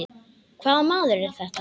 Hvaða maður er þetta?